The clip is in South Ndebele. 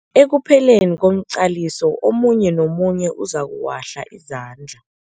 Ekupheleni komqaliso omunye nomunye uzokuwahla izandla.